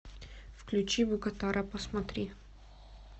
включи букатара посмотри